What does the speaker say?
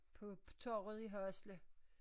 På torvet i Hasle